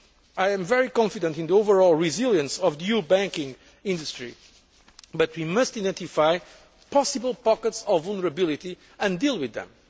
exist. I am very confident about the overall resilience of the EU banking industry, but we must identify possible pockets of vulnerability and deal with